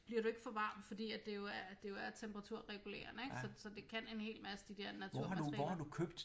Bliver du ikke for varm fordi at det jo er det jo er temperaturregulerende ik så så det kan en helt masse de dér naturmaterialer